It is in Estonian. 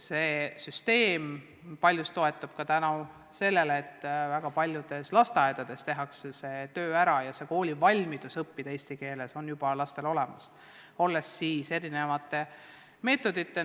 See süsteem toetub ka sellele, et väga paljudes lasteaedades tehakse see töö ära ja valmidus õppida koolis eesti keeles on lastel juba olemas, olles saavutatud erinevate meetodite abil.